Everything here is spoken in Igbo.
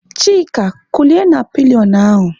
Chika kulie na pilionụ ahụ!